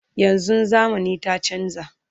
yanzun zamani ta chanza